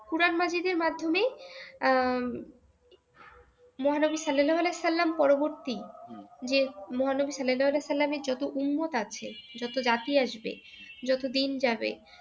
কোরআন মাজীদের মাধ্যমেই আহ মহানবী সাল্লালাহু আলাইহিওয়া সাল্লাম পরবর্তী যে মহানবী সাল্লালাহু আলাইহিওয়া সাল্লাম এর যত উম্মত আছে যত জাতি আসবে যত দিন যাবে